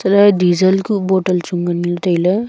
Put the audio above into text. alah e diesel kuh bottle chu nganley tailey.